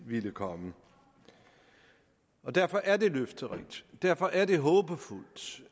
ville komme derfor er det løfterigt derfor er det håbefuldt